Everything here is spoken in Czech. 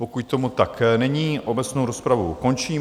Pokud tomu tak není, obecnou rozpravu končím.